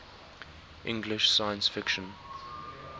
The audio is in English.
english science fiction